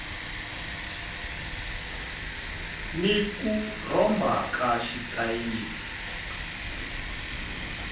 ni ku rhomba ka xitayili